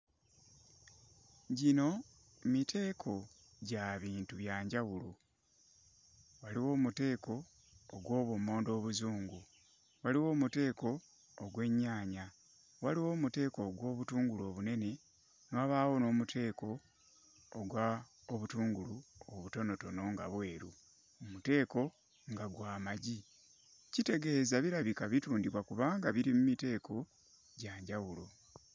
Gino miteeko gya bintu bya njawulo; waliwo omuteeko ogw'obummonde obuzungu, waliwo omuteeko ogw'ennyaanya, waliwo omuteeko ogw'obutungulu obunene, ne wabaawo n'omuteeko ogw'obutungulu obutonotono nga bweru, omuteeko nga gwa magi. Kitegeeza birabika bitundibwa kubanga biri mu miteeko gya njawulo.